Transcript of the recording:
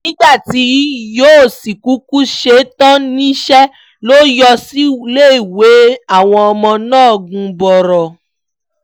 nígbà tí yóò sì kúkú ṣe é tán níṣẹ́ ló yọ síléèwé àwọn ọmọ náà gannboro